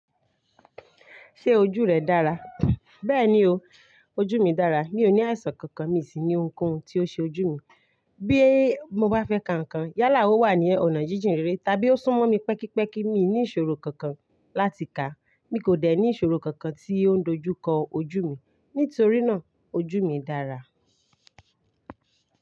Ṣé ojú rẹ dára? Bẹ́ẹ̀ni o, ojú mi dára. Mi ò ní àìsàn kankan, mi sì ní ohunkóhun tí ó ṣe ojú mi. Bí mo bá fẹ́ ka nǹkan, yálà ó wà ní ọ̀nà jíjìn rere, tàbí ó sún mọ́ mi pẹ́kípẹ́kí. Mi ní ìṣòro kankan láti kà. Mi kò dẹ̀ ní ìṣòro kankan tí ó dojú kọ ojú mi. Nítorí náà, ojú mi dára.